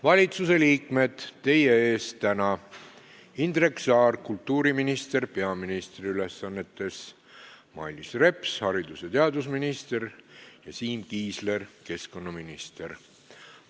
Valitsusliikmetest on täna teie ees Indrek Saar, kultuuriminister peaministri ülesannetes, Mailis Reps, haridus- ja teadusminister, ning Siim Kiisler, keskkonnaminister.